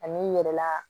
Ani n yɛrɛ la